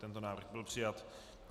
Tento návrh byl přijat.